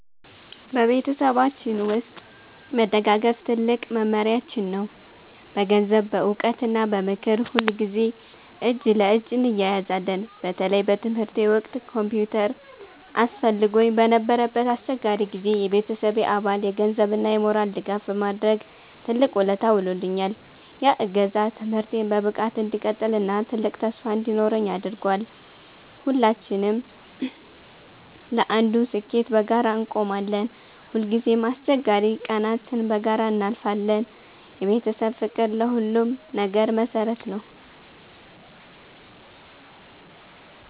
በቤተሰባችን ውስጥ መደጋገፍ ትልቁ መመሪያችን ነው። በገንዘብ፣ በዕውቀት እና በምክር ሁልጊዜ እጅ ለእጅ እንያያዛለን። በተለይ በትምህርቴ ወቅት ኮምፒውተር አስፈልጎኝ በነበረበት አስቸጋሪ ጊዜ፣ የቤተሰቤ አባል የገንዘብ እና የሞራል ድጋፍ በማድረግ ትልቅ ውለታ ውሎልኛል። ያ እገዛ ትምህርቴን በብቃት እንድቀጥል እና ትልቅ ተስፋ እንዲኖረኝ አድርጓል። ሁላችንም ለአንዱ ስኬት በጋራ እንቆማለን። ሁልጊዜም አስቸጋሪ ቀናትን በጋራ እናልፋለን። የቤተሰብ ፍቅር ለሁሉም ነገር መሰረት ነው።